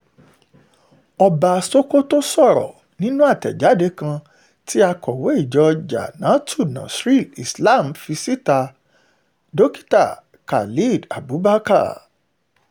ọba sokoto sọ̀rọ̀ yìí nínú àtẹ̀jáde kan tí akọ̀wé ìjọ jamaatul nasríl islam fi síta dókítà khalid abubakar